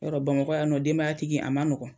Yarɔ Bamakɔ yan nɔ denbayatigi a ma nɔgɔn.